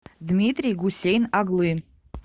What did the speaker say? дмитрий гусейн оглы